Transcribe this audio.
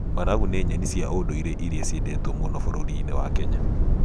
Managu nĩ nyeni cia ndũire irĩa ciendetwo mũno bũrũri-inĩ wa Kenya.